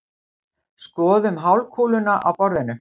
Skorðum hálfkúluna á borðinu.